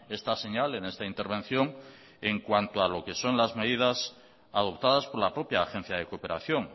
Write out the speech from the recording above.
esta señal en esta intervención en cuanto a lo que son las medidas adoptadas por la propia agencia de cooperación